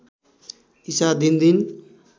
ईसा दिनदिन